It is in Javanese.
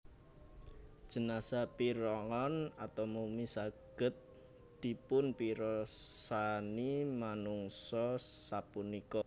Jenazah Pirngon/Mumi saged dipunpirsani manungsa sapunika